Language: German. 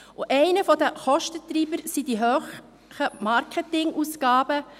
Eine der Kostentreiber sind die hohen Marketingausgaben.